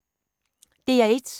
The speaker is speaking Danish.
DR1